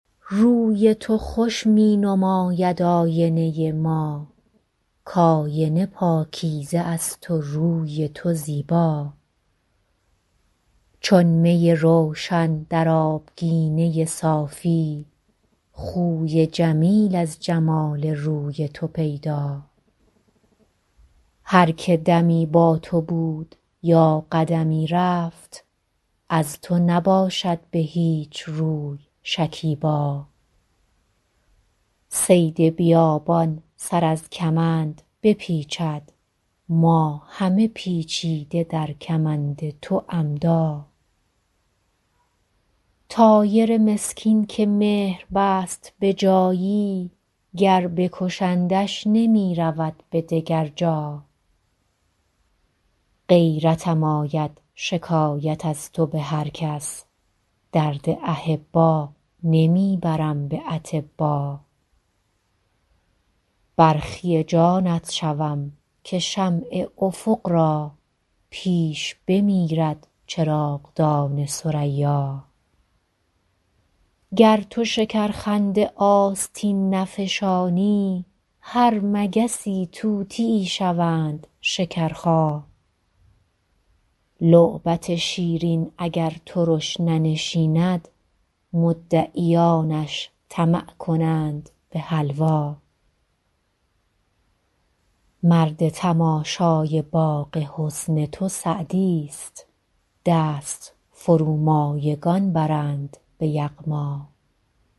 روی تو خوش می نماید آینه ما کآینه پاکیزه است و روی تو زیبا چون می روشن در آبگینه صافی خوی جمیل از جمال روی تو پیدا هر که دمی با تو بود یا قدمی رفت از تو نباشد به هیچ روی شکیبا صید بیابان سر از کمند بپیچد ما همه پیچیده در کمند تو عمدا طایر مسکین که مهر بست به جایی گر بکشندش نمی رود به دگر جا غیرتم آید شکایت از تو به هر کس درد احبا نمی برم به اطبا برخی جانت شوم که شمع افق را پیش بمیرد چراغدان ثریا گر تو شکرخنده آستین نفشانی هر مگسی طوطیی شوند شکرخا لعبت شیرین اگر ترش ننشیند مدعیانش طمع کنند به حلوا مرد تماشای باغ حسن تو سعدیست دست فرومایگان برند به یغما